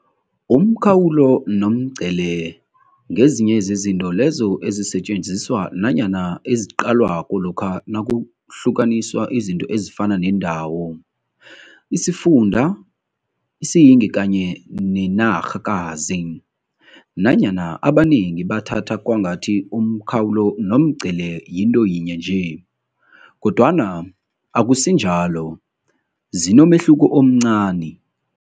Umkhawulo nomngcele ngezinye zezinto lezo ezisetjenziswa nanyana eziqalwako lokha nakuhlukaniswa izinto ezifana neendawo, isifunda, isiyingi kanye nenarhakazi. Nanyana abanengi bathatha kwangathi umkhawulo nomngcele yinto yinye nje, kodwana akusinjalo zinomehluko omncani.